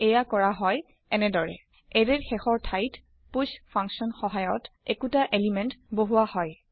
এয়া কৰা হয় এনেদৰে160 এৰে ৰ শেষৰ থাইত পুষ ফাংচন সহায়ত একোটা এলিমেন্ট বহুৱা হয়